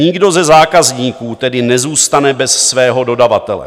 Nikdo ze zákazníků tedy nezůstane bez svého dodavatele.